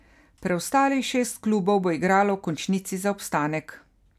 Preostalih šest klubov bo igralo v končnici za obstanek.